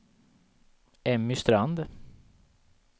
Emmy Strand